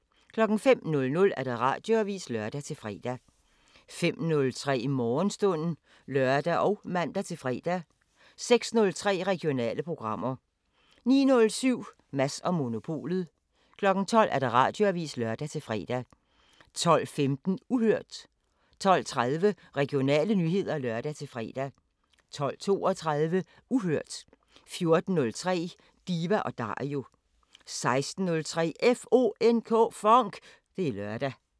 05:00: Radioavisen (lør-fre) 05:03: Morgenstund (lør og man-fre) 06:03: Regionale programmer 09:07: Mads & Monopolet 12:00: Radioavisen (lør-fre) 12:15: Uhørt 12:30: Regionale nyheder (lør-fre) 12:32: Uhørt 14:03: Diva & Dario 16:03: FONK! Det er lørdag